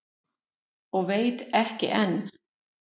Og veit ekki enn.